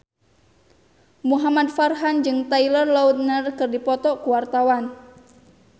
Muhamad Farhan jeung Taylor Lautner keur dipoto ku wartawan